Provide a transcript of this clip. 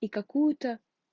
и какую-то